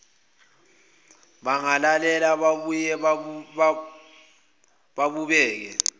bangalela babuye babuke